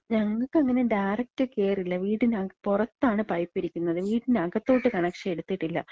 ഞങ്ങക്കങ്ങനെ direct കേറില്ല. വീടിന് പൊറത്താണ് പൈപ്പ് ഇരിക്ക്ന്നത്. വീട്ടിനകത്തോട്ട് കണക്ഷൻ എടുത്തിട്ടില്ല.